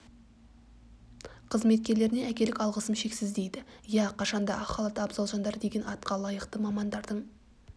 қызметкерлеріне әкелік алғысым шексіз дейді иә қашанда ақ халатты абзал жандар деген атқа лайықты мамандардың